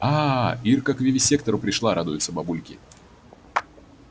ааа ирка к вивисектору пришла радуются бабульки